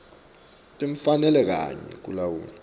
timfanelo kanye nekulawula